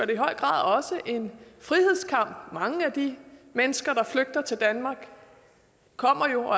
i høj grad også en frihedskamp mange af de mennesker der flygter til danmark kommer jo